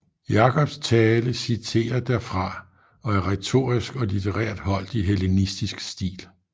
Jakobs tale citerer derfra og er retorisk og litterært holdt i hellenistisk stil